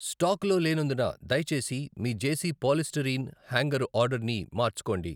స్టాకులో లేనందున దయచేసి మీ జేసీ పాలిస్టయిరీన్ హ్యాంగరు ఆర్డర్ని మార్చుకోండి.